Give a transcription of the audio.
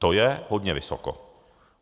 To je hodně vysoko.